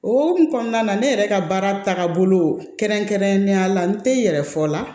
O hokumu kɔnɔna na ne yɛrɛ ka baara tagabolo kɛrɛnkɛrɛnnenya la n tɛ n yɛrɛ fɔ la